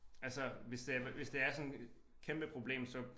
Altså hvis det hvis det er sådan et kæmpe problem så